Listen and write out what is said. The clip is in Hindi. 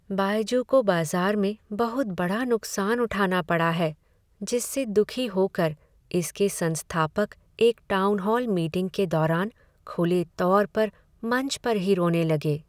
बायजू को बाजार में बहुत बड़ा नुकसान उठाना पड़ा है जिससे दुखी होकर इसके संस्थापक एक टाउनहॉल मीटिंग के दौरान खुले तौर पर मंच पर ही रोने लगे।